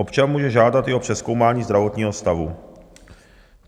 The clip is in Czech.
Občan může žádat i o přezkoumání zdravotního stavu.